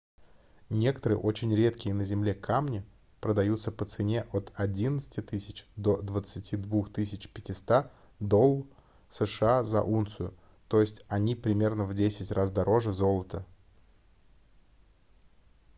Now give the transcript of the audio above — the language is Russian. некоторые очень редкие на земле камни продаются по цене от 11 000 до 22 500 долл сша за унцию т е они примерно в 10 раз дороже золота